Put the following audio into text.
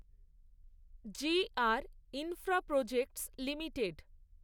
G R Infraprojects limited